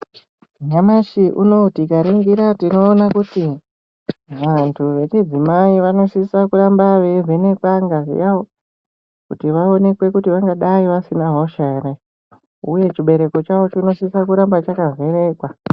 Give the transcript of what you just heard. Nyamashi unowu tikaringira tinoona kuti vantu vechidzimai vanosise kuramba veivhenekwe ngazi yavo kuti vaonekwe kuti vangadai vasina hosha ere. Uye chibereko chavo chinosisa kuramba chakavhenekwa.